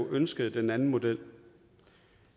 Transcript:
ønskede den anden model